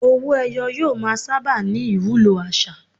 Owó-ẹyọ yóò máa sábà ní ìwúlò àṣà.